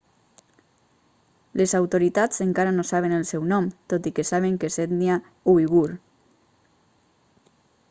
les autoritats encara no saben el seu nom tot i que saben que és d'ètnia uigur